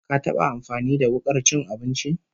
Ka taba amfani da wukar cin abinci?